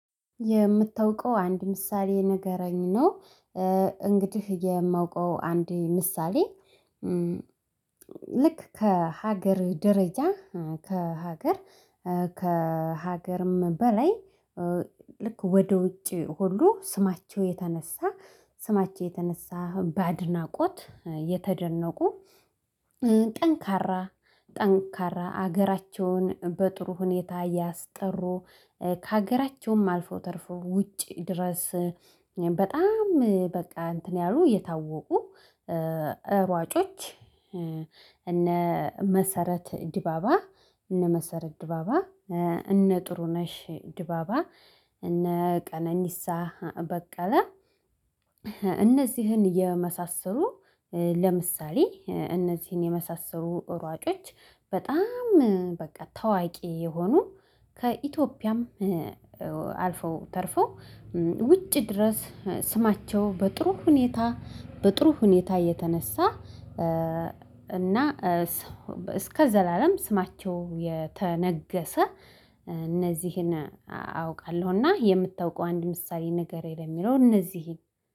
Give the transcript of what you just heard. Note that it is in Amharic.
የምታውቀው አንድ ምሳሌ ንገረኝ ነው። እንግዲህ የማውቀው አንድ ምሳሌ ልክ ከሀገር ደረጃ ከሀገር ከሀገርም በላይ ልክ ወደ ውጪ ሁሉ ስማቸው የተነሳ ስማቸው የተነሳ በአድናቆት የተደነቁ። ጠንካራ ጠንካራ ሀገራቸውን በጥሩ ሁኔታ ያስጠሩ ከሀገራቸውም አልፎ ተርፈው ውጪ ድረስ በጣም በቃ እንትን ያሉ የታወቁ ሯጮች እነ መሰረት ዲባባ እነ መሰረት ዲባባ እነ ጥሩ ነሽ ዲባባ እነ ቀነኒሳ በቀለ። እነዚህን የመሳሰሉ ለምሳሌ እነዚህን የመሳሰሉ ሯጮች በጣም በቃ ታዋቂ የሆኑ ከኢትዮጵያም አልፈው ተርፈው ውጭ ድረስ ስማቸው በጥሩ ሁኔታ በጥሩ ሁኔታ እየተነሳ እና እስከ ዘላለም ስማቸው የተነገሰ። አውቃለሁና የምታውቀው አንድ ምሳሌ ንገረኝ ለሚለው እነዚህን